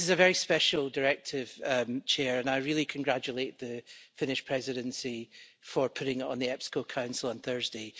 This is a very special directive, President, and I really congratulate the Finnish Presidency for putting it on the EPSCO Council on Thursday.